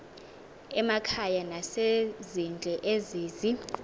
emakhaya nasezindle ezizi